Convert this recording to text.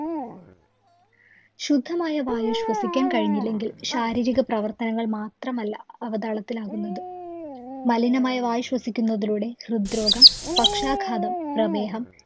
ശുദ്ധമായ വായു ശ്വസിക്കാന്‍ കഴിഞ്ഞില്ലെങ്കില്‍ ശാരീരിക പ്രവര്‍ത്തനങ്ങള്‍ മാത്രമല്ല അവതാളത്തിലാകുന്നത്. മലിനമായ വായു ശ്വസിക്കുന്നതിലൂടെ ഹൃദ്രോഗം, പക്ഷാഘാതം, പ്രമേഹം